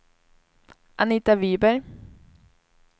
Anita Wiberg